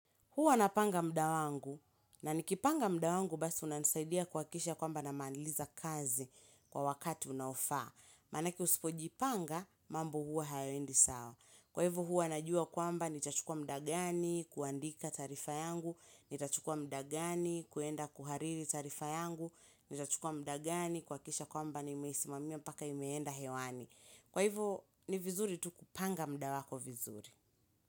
Hua napanga mda wangu na nikipanga mda wangu basi unanisaidia kuhakikisha kwamba namaliza kazi kwa wakati unaofaa. Manaki usipo jipanga, mambu hua hayaendi sawa. Kwa hivo hua najua kwamba nitachukua mda gani, kuandika taarifa yangu, nitachukua mda gani kuenda kuhariri tarifa yangu, nitachukua mda gani, kuhakikisha kwamba nimeisimamia mpaka imeenda hewani. Kwa hivo ni vizuri tu kupanga mda wako vizuri.